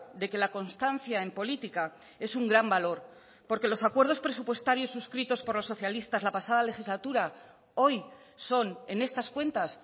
de que la constancia en política es un gran valor porque los acuerdos presupuestarios suscritos por los socialistas la pasada legislatura hoy son en estas cuentas